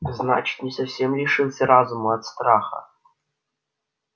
значит не совсем лишился разума от страха